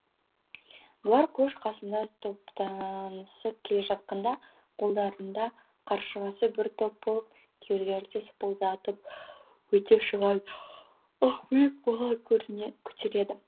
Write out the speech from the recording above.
бұлар көш қасында топтанысып келе жатқанда қолдарында қаршығасы бір топ болып күйеулері де сыпылдатып өте шығады ақбілек бала көтереді